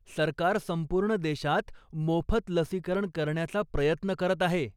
सरकार संपूर्ण देशात मोफत लसीकरण करण्याचा प्रयत्न करत आहे.